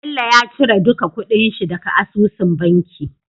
Bello ya cire duka kuɗin shi daka asusun banki